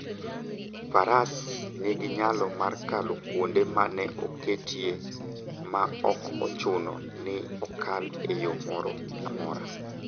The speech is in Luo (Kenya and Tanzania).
Faras nigi nyalo mar kalo kuonde ma ne oket e iye ma ok ochuno ni okal e yo moro amora.